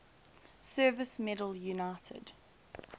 service medal united